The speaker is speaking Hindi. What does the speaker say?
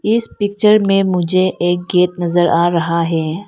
इस पिक्चर में मुझे एक गेट नजर आ रहा है।